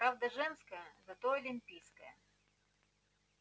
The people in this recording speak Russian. правда женская зато олимпийская